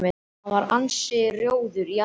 Hann var ansi rjóður í andliti.